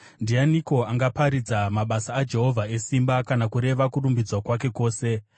Ndianiko angaparidza mabasa aJehovha esimba, kana kureva kurumbidzwa kwake kwose?